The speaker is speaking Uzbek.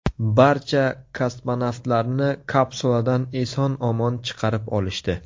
Barcha kosmonavtlarni kapsuladan eson-omon chiqarib olishdi.